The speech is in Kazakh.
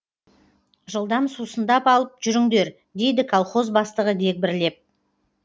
жылдам сусындап алып жүріңдер дейді колхоз бастығы дегбірлеп